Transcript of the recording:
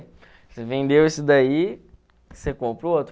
Você vendeu esse daí, você compra o outro.